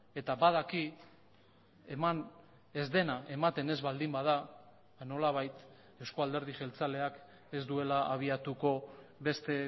eta badaki eman ez dena ematen ez baldin bada nolabait eusko alderdi jeltzaleak ez duela habiatuko beste